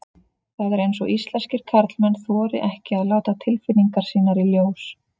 Það er eins og íslenskir karlmenn þori ekki að láta tilfinningar sínar í ljós.